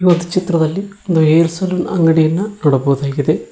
ಈ ಒಂದು ಚಿತ್ರದಲ್ಲಿ ಒಂದು ಹೇರ್ ಸಲೂನ್ ಅಂಗಡಿಯನ್ನು ನೋಡಬಹುದಾಗಿದೆ